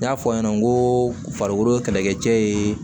N y'a fɔ aw ɲɛna n ko farikolo ye kɛlɛkɛ cɛ yee